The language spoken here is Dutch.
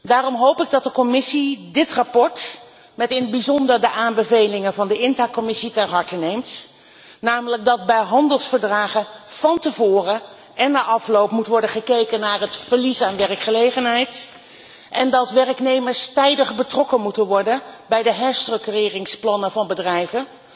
Daarom hoop ik dat de Commissie dit verslag ter harte neemt, met in het bijzonder de aanbevelingen van de INTA commissie, namelijk dat bij handelsverdragen van tevoren en na afloop moet worden gekeken naar het verlies aan werkgelegenheid en dat werknemers tijdig betrokken moeten worden bij de herstructureringsplannen van bedrijven,